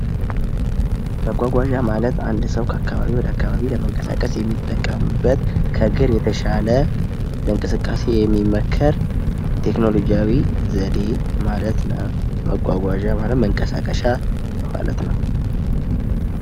መጓጓዣ ማለት አንድ ሰው አካባቢ ወደ አካባቢ የሚጠቀምበት ከግር የተሻለ ለእንቅስቃሴ የሚመከር ቴክኖሎጂያዊ ዘዴ ማለት ነው። ማጓጓዣ ማለት መንቀሳቀሻ ማለት ነው